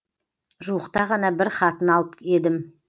жуықта ғана бір хатын алып едім